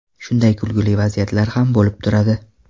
Shunday kulgili vaziyatlar ham bo‘lib turadi.